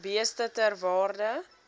beeste ter waarde